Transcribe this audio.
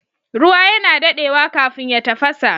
Ruwa yana dadewa kafin ya tafasa